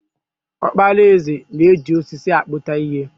Okpara eze na-eji osisi akputa ihe.